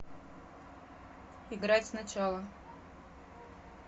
играть сначала